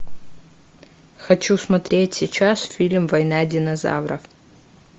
хочу смотреть сейчас фильм война динозавров